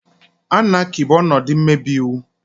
Anaaky bụ ọnọdụ mmebi iwu.